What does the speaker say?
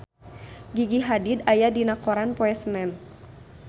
Gigi Hadid aya dina koran poe Senen